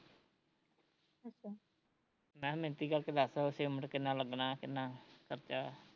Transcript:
ਮੈਂ ਕਿਹਾਂ ਮਿਣਤੀ ਕਰਕੇ ਦੱਸ ਸੀਮਿਟ ਕਿੰਨਾ ਲੱਗਣਾ ਐ, ਕਿੰਨਾ ਖਰਚਾ